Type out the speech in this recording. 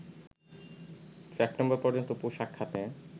September পর্যন্ত পোশাক খাতে